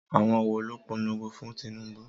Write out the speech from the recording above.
Àwọn wo ló polongo fún Tinubu?